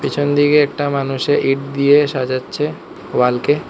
পিছনদিকে একটা মানুষে ইট দিয়ে সাজাচ্ছে ওয়াল কে।